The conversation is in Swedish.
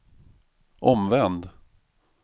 omvänd